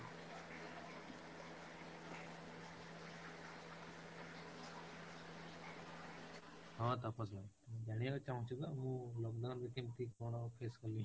ହଁ ତାପସ ଭାଇ, ଜାଣିବାକୁ ଚାହୁଁଚ ତ ମୁଁ lockdown ରେ କେମିତି କଣ face କଲି?